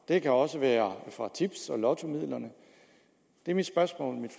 det kan også være fra tips og lottomidlerne mit